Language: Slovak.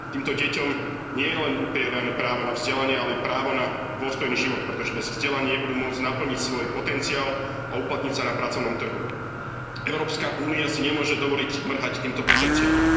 Týmto deťom nie je len upierané právo na vzdelanie, ale i právo na dôstojný život, pretože bez vzdelania nebudú môcť naplniť svoj potenciál a uplatniť sa na pracovnom trhu. Európska únia si nemôže dovoliť mrhať týmto potenciálom.